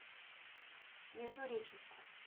междуреченску